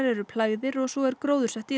eru plægðir og svo er gróðursett í